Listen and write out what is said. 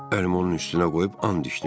Əlimi onun üstünə qoyub and içdim.